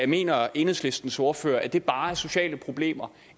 mener enhedslistens ordfører at det bare er sociale problemer